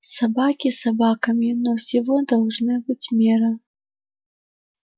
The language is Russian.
собаки собаками но всего должна быть мера